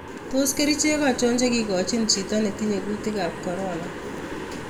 Tos kericheek achon chekigochin chito netinye kuutikaab corona?